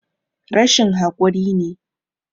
Rashin hakuri ne